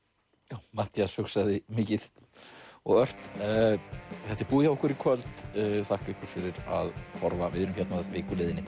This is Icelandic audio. já Matthías hugsaði mikið og ört þetta er búið hjá okkur í kvöld þakka ykkur fyrir að horfa við erum hérna að viku liðinni